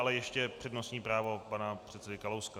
Ale ještě přednostní právo pana předsedy Kalouska.